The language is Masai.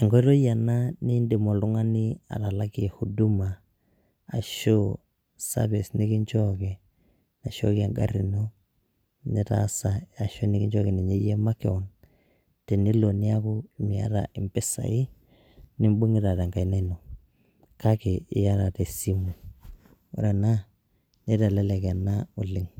Enkoitoi ena nidim oltung'ani atalakie huduma ,ashu service nikinchooki, naishooki egarri ino, nitaas ai ashu nikinchooki ninye yie makeon, tenelo neeku miata impisai, nibung'ita tenkaina ino, kake iyata tesimu. Ore ena, nitelelek ena okeng'.